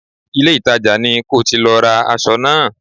Ìlé-ìtajà ni ko ti lọ ra aṣọ náà